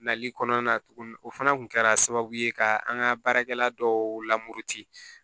Nali kɔnɔna na tuguni o fana kun kɛra sababu ye ka an ka baarakɛla dɔw lamoti